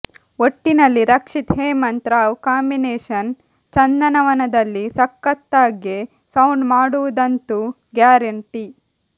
ಒಟ್ಟಿನಲ್ಲಿ ರಕ್ಷಿತ್ ಹೇಮಂತ್ ರಾವ್ ಕಾಂಬಿನೇಷನ್ ಚಂದನವನದಲ್ಲಿ ಸಖತ್ತಾಗೆ ಸೌಂಡ್ ಮಾಡುವುದಂತೂ ಗ್ಯಾರೆಂಟಿ